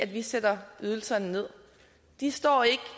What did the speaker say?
vi sætter ydelserne nederst de står ikke